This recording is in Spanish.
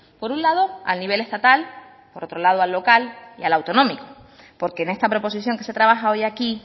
por un lado a nivel estatal por otro lado al local y al autonómico porque en esta proposición que se trabaja hoy aquí